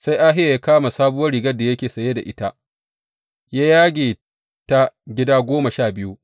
Sai Ahiya ya kama sabuwar rigar da yake saye da ita ya yage ta gida goma sha biyu.